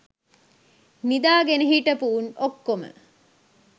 නිදා ගෙන හිටපු උන් ඔක්කොම